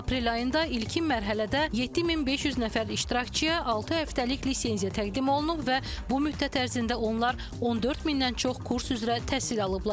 Aprel ayında ilkin mərhələdə 7500 nəfər iştirakçıya altı həftəlik lisenziya təqdim olunub və bu müddət ərzində onlar 14 mindən çox kurs üzrə təhsil alıblar.